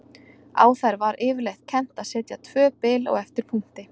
Á þær var yfirleitt kennt að setja tvö bil á eftir punkti.